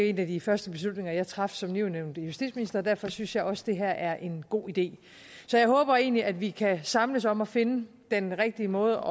en af de første beslutninger jeg traf som nyudnævnt justitsminister og derfor synes jeg også at det her er en god idé så jeg håber egentlig at vi kan samles om at finde den rigtige måde